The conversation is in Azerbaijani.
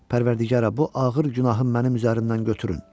Pərvərdigara, bu ağır günahı mənim üzümdən götürün.